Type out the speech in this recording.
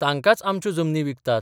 तांकांच आमच्यो जमनी विकतात.